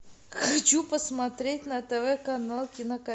хочу посмотреть на тв канал